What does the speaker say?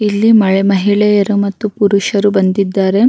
ಇಲ್ಲಿ ಮಹಿಳೆಯರು ಮತ್ತು ಪುರುಷರು ಬಂದಿದ್ದಾರೆ.